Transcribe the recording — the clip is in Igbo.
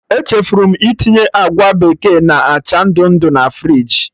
Echefuru m itinye agwa bekee na acha ndụ ndụ na friji